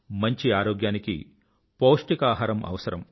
మంచి ఆరోగ్యానికి పౌష్టిక భోజనం అవసరం